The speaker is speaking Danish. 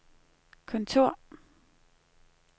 kontor